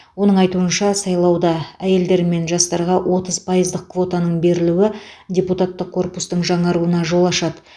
оның айтуынша сайлауда әйелдер мен жастарға отыз пайыздық квотаның берілуі депутаттық корпустың жаңаруына жол ашады